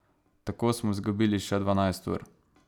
Tako smo izgubili še dvanajst ur.